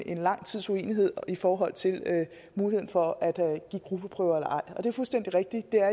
en lang tids uenighed i forhold til muligheden for at give gruppeprøver eller ej det er fuldstændig rigtigt at